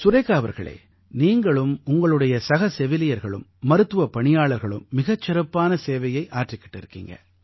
சுரேகா அவர்களே நீங்களும் உங்களுடைய சக செவிலியர்களும் மருத்துவப் பணியாளர்களும் மிகச் சிறப்பான சேவையை ஆற்றிக்கிட்டு இருக்கீங்க